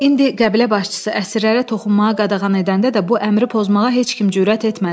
İndi qəbilə başçısı əsirlərə toxunmağa qadağan edəndə də bu əmri pozmağa heç kim cürət etmədi.